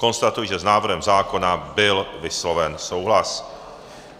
Konstatuji, že s návrhem zákona byl vysloven souhlas.